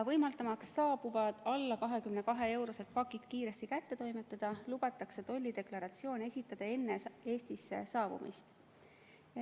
Võimaldamaks saabuvad alla 22-eurosed pakid kiiresti kätte toimetada, lubatakse tollideklaratsioon esitada enne Eestisse saabumist.